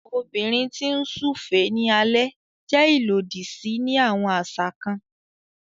Obìnrin ti n súfèé ní alẹ jẹ ilodi sí ni awọn aṣa kàn